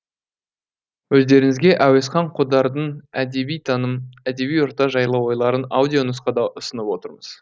өздеріңізге әуезхан қодардың әдеби таным әдеби орта жайлы ойларын аудио нұсқада ұсынып отырмыз